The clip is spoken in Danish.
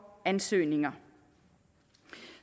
ansøgninger